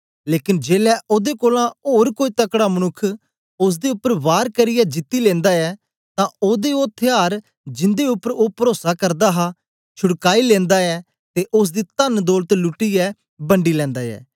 लेकन जेलै ओदे कोलां ओर कोई तकड़ा मनुक्ख ओसदे उपर वार करियै जीती लिंदा ऐ तां ओदे ओ थयार जिन्दे उपर ओ परोसा करदा हा छुड़काई लेनदा ऐ ते ओसदी तनदौलत लूटियै बंडी लेनदा ऐ